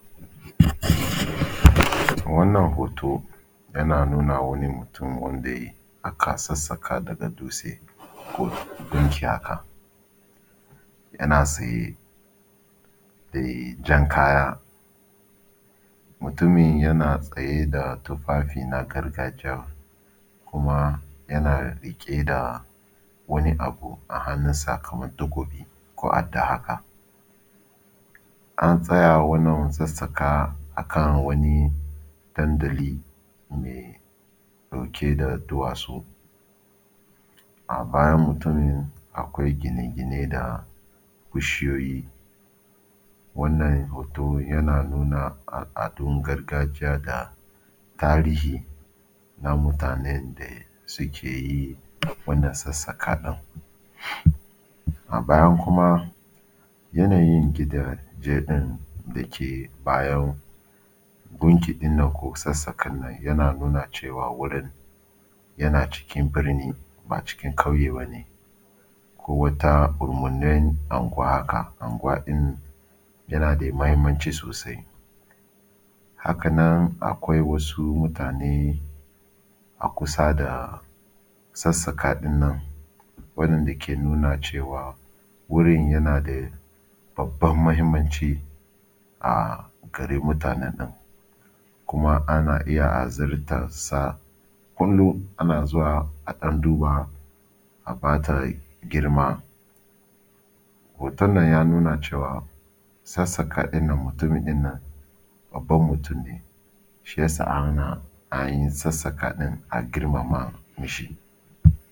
A wannan hoto yana nuna wani mutum wanda aka sassaƙa daga dutse ko gunki haka, yana tsaye da jan kaya, mutumin yana tsaye da tufafi na gargajiya kuma yana riƙe da wani abu a hannun sa kamar takobi ko addah haka. An tsaya wannan sassaƙa akan wani dandali mai ɗauke da duwatsu a bayan mutumin akwai gine-gine da bishiyoyi. Wannan hoto yana nuna al’adun gargajiya da tarihi na mutanen da suke yi wannan sassaƙa ɗin. A bayan kuma yanayin gidaje ɗin da ke bayan gunki ɗin nan ko sassaƙen yana nuna cewa wurin yana cikin birni ba cikin ƙauye bane ko wata ƙurumin anguwa haka, anguwa ɗin yana da muhimmanci sosai, Haka nan akwai wasu mutane a kusa da sassaƙa ɗin nan wannan da ke nuna cewa wurin yana da babban muhimmanci a garin mutanen nan kuma ana iya azurtar sa kullum ana zuwa a ɗan duba a bata girma. Hoton nan ya nuna cewa sasaƙa ɗin nan mutumin nan babban mutum ne shi ya sa ana an sassaƙa ɗin a girmama.